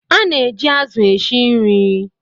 Ana eji azu esi nri